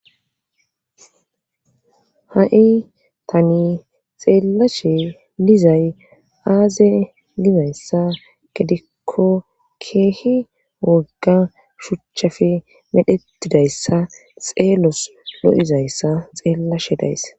ha7i tani xeellashe dizay aaze gizayssa gedikko keehi wogga shuchchafe medhetidayssa xeelos lo7izayssa xeellashe days